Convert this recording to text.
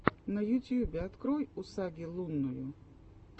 на ютьюбе открой усаги лунную